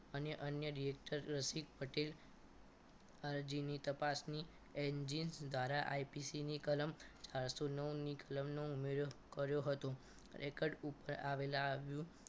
અને અન્ય directer રસિક પટેલ અરજીની તપાસની engine ઘારા IPC ની કલમ ચાર સો નવ ની કલમ નો ઉમેરો કર્યો હતો ખરેખર ઉપકર આવેલા